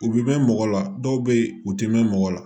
U bɛ mɛn mɔgɔ la dɔw bɛ yen u tɛ mɛn mɔgɔ la